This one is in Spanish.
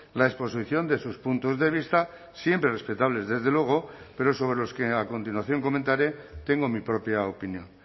la exposición de sus puntos de vista siempre respetables desde luego pero sobre los que a continuación comentaré tengo mi propia opinión